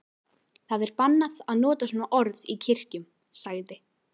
Það er bannað að nota svona orð í kirkjum, sagði